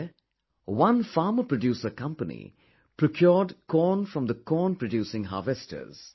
There, one farmer producer company procured corn from the corn producing harvesters